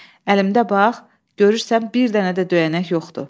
Əlimdə bax, görürsən bir dənə də döyənək yoxdur.